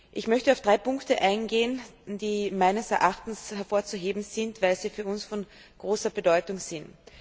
Ich möchte auf drei Punkte eingehen, die meines Erachtens hervorzuheben sind, weil sie für uns von großer Bedeutung sind.